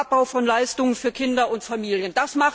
Abbau von Leistungen für Kinder und Familien.